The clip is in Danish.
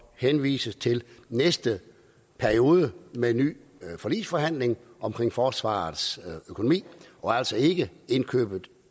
henvises til næste periode med nye forligsforhandlinger omkring forsvarets økonomi og altså ikke indkøbet